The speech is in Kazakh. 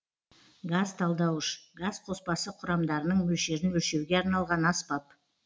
газ талдауыш газ қоспасы құрамдарының мөлшерін өлшеуге арналған аспап